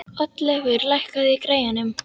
Oddleifur, lækkaðu í græjunum.